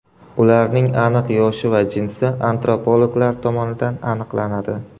Ularning aniq yoshi va jinsi antropologlar tomonidan aniqlanadi.